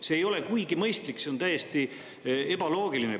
See ei ole kuigi mõistlik, see on täiesti ebaloogiline.